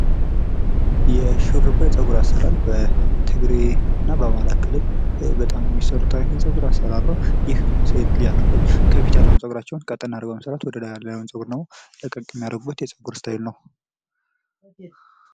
የሹርባ የፀጉር አሰራር በትግሬና በአማራ ክልል በጣም የሚሰሩት አይነት የፀጉር አሰራር ነው። ይህ ሴት ልጅ አገረዶች ከፊት ያለው ፀጉራቸውን ቀጠን አድርግው በመሰራት በደላይ ያለውን ደሞ ለቀቅ የሚያደርጉበት የፀጉር እስታይል ነው።